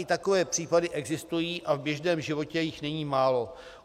I takové případy existují a v běžném životě jich není málo.